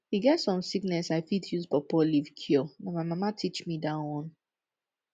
e get some sickness i fit use pawpaw leaf cure na my mama teach me dat one